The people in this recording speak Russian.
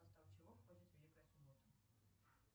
в состав чего входит великая суббота